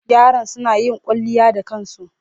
Yaron suna yin kwalliya da kansu.